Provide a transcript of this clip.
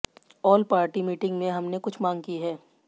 all party meeting में हमने कुछ मांग की है